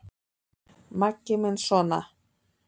Maggi minn sona!